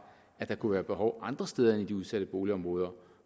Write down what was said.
at der kunne være behov andre steder end i de udsatte boligområder